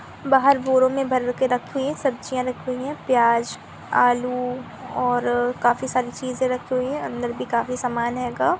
बहार बोर में भर के राखी है | सब्जिया। राकी हे प्यास अल्लू और काफी सरे चीस रखे हुए हे अंदर बी काफी सरे समान हे कब --